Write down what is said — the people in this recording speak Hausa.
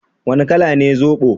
Wane kala ne zobo?